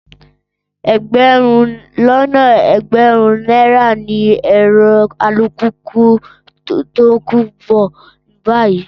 Ẹgbẹ̀rún lọ́nà ẹgbẹ̀rin náírà ni èrò alùpùpù tòkunbọ̀ báyìí